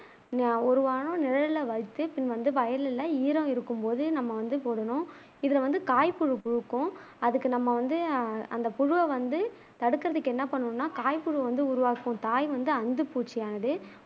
ஒரு வாரம் நிழல்லவச்சு பின் வயல்ல ஈரம் இருக்குபோது நம்ம வந்து போடனும் இதுல வந்து காய் புழு புழுக்கும் அதுக்கு நம்ம வந்து அந்த புழுவ வந்து தடுக்குறதுக்கு என்ன பண்ணனும்னா காய் புழு வந்து உருவாக்கும் தாய் வந்து அந்துப் பூச்சியானது